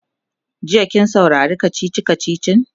jiya kin saurari kachichi kachichin?